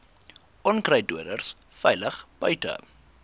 onkruiddoders veilig buite